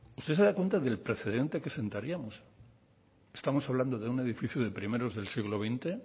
usted se da cuenta del precedente que sentaríamos estamos hablando de un edificio de primeros del siglo veinte